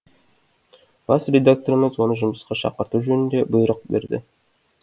бас редакторымыз оны жұмысқа шақырту жөнінде бұйрық берді